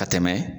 Ka tɛmɛ